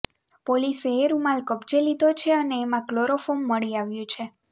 પોલીસે એ રૂમાલ કબજે લીધો છે અને એમાં કલોરોફોર્મ મળી આવ્યું છે